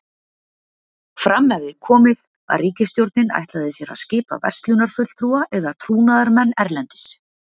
Fram hefði komið, að ríkisstjórnin ætlaði sér að skipa verslunarfulltrúa eða trúnaðarmenn erlendis.